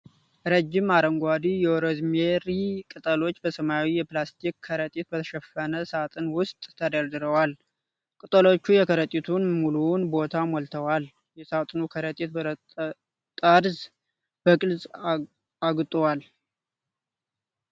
ረዥም አረንጓዴ የሮዝሜሪ ቅጠሎች በሰማያዊ የፕላስቲክ ከረጢት በተሸፈነ ሣጥን ውስጥ ተደርድረዋል። ቅጠሎቹ የከረጢቱን ሙሉውን ቦታ ሞልተዋል። የሣጥኑ ከረጢት ጠርዝ በግልጽ አግጡዋል።